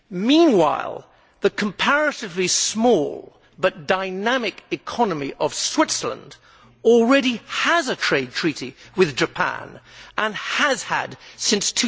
Meanwhile, the comparatively small, but dynamic, economy of Switzerland already has a trade treaty with Japan, and has had since